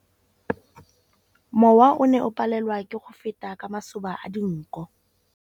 Mowa o ne o palelwa ke go feta ka masoba a dinko.